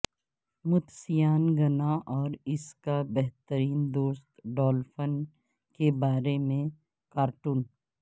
متسیانگنا اور اس کا بہترین دوست ڈالفن کے بارے میں کارٹون